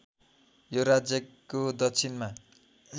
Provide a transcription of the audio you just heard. यो राज्यको दक्षिणमा